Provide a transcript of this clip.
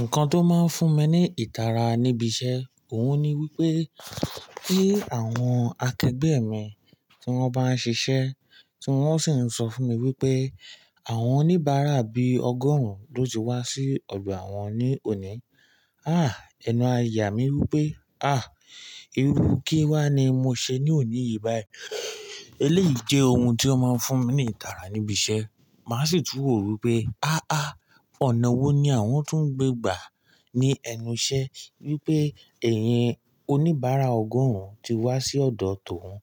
Nǹkan tó máa ń fún mi ní ìtara níbi iṣẹ́, òhun ni wípé kí àwọn akẹgbẹ́ mi tí wón bá ń ṣiṣẹ́, tí wón sì ń sọ fún mi wípé àwọn oníbàárà bí ọgọ́rùn lo ti wá sí ọgbà àwọn ní òní. Ah! Ẹnu àyà mi wípé, ah! Irú kíwá ni mo ṣe ní òní yìí báyìí. Eléyìí jẹ́ ohun tó máa ń fún mi ní ìtara níbi iṣẹ́. Màá sì tú ro wipé, ah ah! Ọ̀nà wo ni àwọn tún ń gbé gbà ní ẹnu iṣẹ́ wípé ẹ̀yin oníbàárà ọgọ́rùn ti wá sí ọ̀dọ̀ tòun.